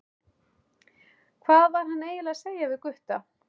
Hvað var hann eiginlega að segja við Gutta?